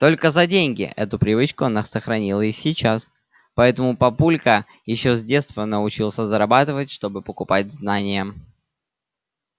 только за деньги эту привычку она сохранила и сейчас поэтому папулька ещё с детства научился зарабатывать чтобы покупать знания